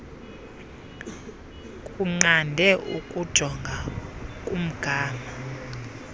kunqande ukujonga kumgama